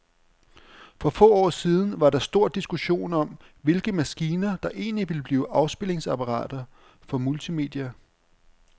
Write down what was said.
For få år siden var der stor diskussion om, hvilke maskiner, der egentlig ville blive afspilningsapparater for multimedia.